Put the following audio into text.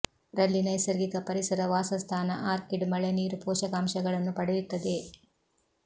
ರಲ್ಲಿ ನೈಸರ್ಗಿಕ ಪರಿಸರ ವಾಸಸ್ಥಾನ ಆರ್ಕಿಡ್ ಮಳೆ ನೀರು ಪೋಷಕಾಂಶಗಳನ್ನು ಪಡೆಯುತ್ತದೆ